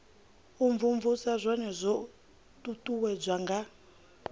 imvumvusa zwone zwo uuwedzwa nga